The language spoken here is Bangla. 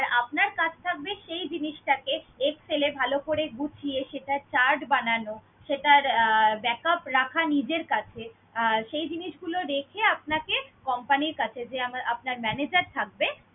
আপনার কাজ থাকবে সেই জিনিসটাকে Excel এ ভালো করে গুছিয়ে সেটার chart বানানো, সেটার আহ backup রাখা নিজের কাছে, আর সেই জিনিসগুলো রেখে আপনাকে company র কাছে যে আমার~ আপনার manager থাকবে